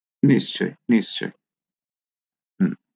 নিচয়স